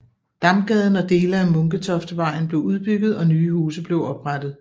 Damgaden og dele af Munketoftvejen blev udbygget og nye huse blev oprettet